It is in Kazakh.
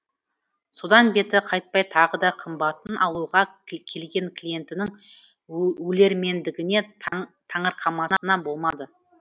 содан беті қайтпай тағы да қымбатын алуға келген клиентінің өлермендігіне таңырқамасына болмады